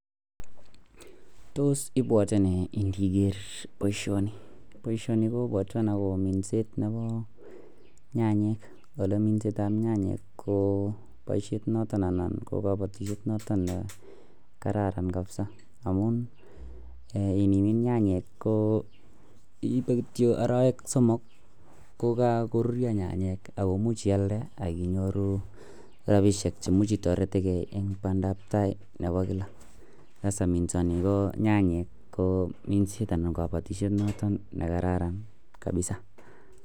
Tos ibwate nei niger baishoni, baishoni kobwatwon akoba minset Nebo nyanayek olekimindoi nyanyek ko baishet noton anan kokabatishet noton kararan kabisa amun inimin nyanyek ko iibe kityo arawek somok kokakorurio nyanyek komuch iyalde akinyoru rabishek cheimuche itareten gei en bandabtai Nebo kila akityo minsani ko nyanyek ko minset anan kabatishet niton nekararan kabisa